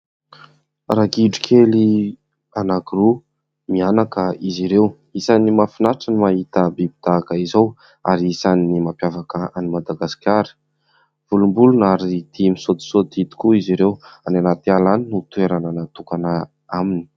Ragidro kely anaky roa mianaka izy ireo isany mahafinaritra ny mahita biby tahaka izao ary isany mampiavaka an'i madagasikara volom-boloina ary tia misaotisaoty tokoa izy ireo any anaty ala any ny toerana natokana aminy